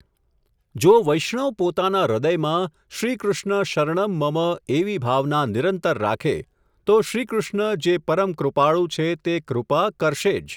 જો વૈષ્ણવ પોતાના હૃદયમાં, શ્રી કૃષ્ણ શરણં મમ્ એવી ભાવના નિરંતર રાખે, તો શ્રીકૃષ્ણ જે પરમકૃપાળુ છે તે કૃપા કરશે જ.